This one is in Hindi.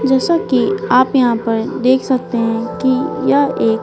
जैसा कि आप यहां पर देख सकते हैं कि यह एक--